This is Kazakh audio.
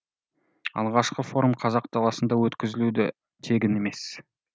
алғашқы форум қазақ даласында өткізілуі де тегін емес